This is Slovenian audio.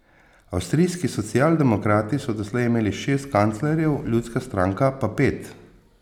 Avstrijski socialdemokrati so doslej imeli šest kanclerjev, ljudska stranka pa pet.